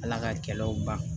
Ala ka kɛlɛw ban